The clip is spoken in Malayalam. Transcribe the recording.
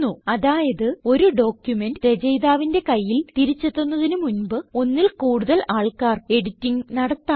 അതായത് ഒരു ഡോക്യുമെന്റ് രചയിതാവിന്റെ കയ്യിൽ തിരിച്ച് എത്തുന്നതിന് മുൻപ് ഒന്നിൽ കൂടുതൽ ആൾക്കാർ എഡിറ്റിംഗ് നടത്താം